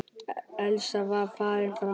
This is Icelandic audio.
Elsa var farin fram.